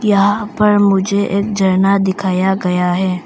यहां पर मुझे एक झरना दिखाया गया है।